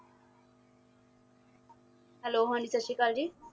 hello ਹਾਂ ਜੀ ਸਤਿ ਸ਼੍ਰੀ ਅਕਾਲ ਜੀ